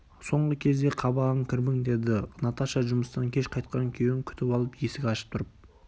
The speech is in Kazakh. соңғы кезде қабағың кірбің деді наташа жұмыстан кеш кайтқан күйеуін күтіп алып есік ашып тұрып